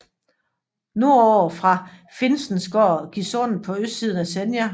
Nordover fra Finnsnes går Gisundet på østsiden af Senja